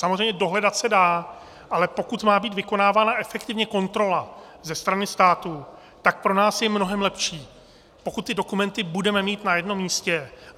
Samozřejmě dohledat se dá, ale pokud má být vykonávána efektivně kontrola ze strany státu, tak pro nás je mnohem lepší, pokud ty dokumenty budeme mít na jednom místě.